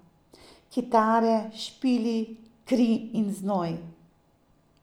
Kitare, špili, kri in znoj.